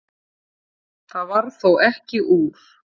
Það varð þó ekki úr.